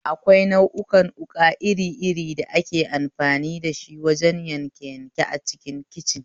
Akwai nau'ukan wuƙa iri iri da ake amfani dashi wajen yanke yanke a kicin